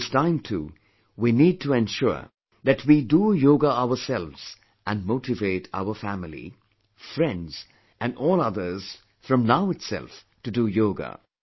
This time too, we need to ensure that we do yoga ourselves and motivate our family, friends and all others from now itself to do yoga